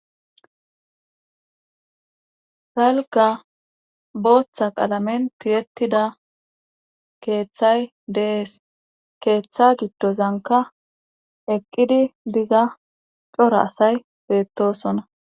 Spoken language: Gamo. Dalgga booththa qalamen tiyettida keeththay dees. keeththa giddozankka eqqidi diza cora asay beettosona.